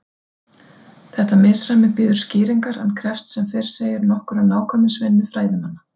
Þetta misræmi bíður skýringar en krefst sem fyrr segir nokkurrar nákvæmnisvinnu fræðimanna.